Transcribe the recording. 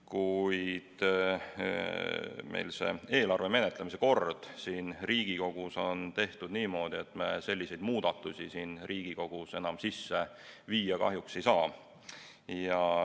Kuid meil on eelarve Riigikogus menetlemise kord tehtud niimoodi, et me selliseid muudatusi siin Riigikogus enam sisse viia kahjuks ei saa.